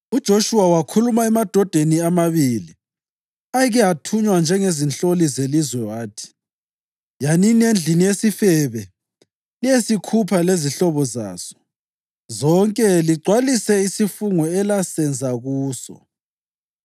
UJoshuwa wakhuluma emadodeni amabili ayeke athunywa njengezinhloli zelizwe wathi, “Yanini endlini yesifebe liyesikhupha lezihlobo zaso zonke ligcwalise isifungo elasenza kuso.”